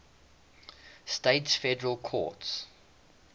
states federal courts